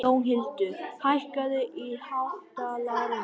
Jónhildur, hækkaðu í hátalaranum.